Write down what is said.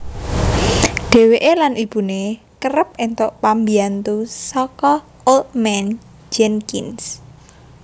Dheweke lan ibune kereb entuk pambyantu saka Old Man Jenkins